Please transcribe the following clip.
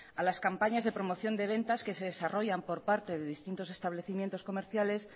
a las campañas de promoción de ventas que se desarrollan por parte de distintos establecimientos comerciales